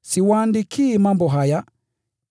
Siwaandikii mambo haya